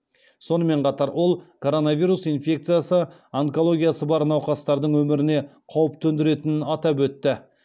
сонымен қатар ол коронавирус инфекциясы онкологиясы бар науқастардың өміріне қауіп төндіретінін атап өтті